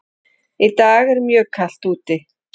Í dag er mjög kalt úti.